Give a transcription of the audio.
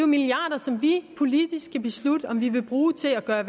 milliarder som vi politisk skal beslutte om vi vil bruge til at gøre